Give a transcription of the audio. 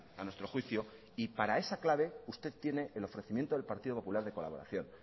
a nuestro juicio y para esa clave usted tiene el ofrecimiento del partido popular de colaboración